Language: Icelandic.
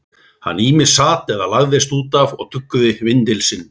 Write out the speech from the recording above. Hann ýmist sat eða lagðist út af og tuggði vindil sinn.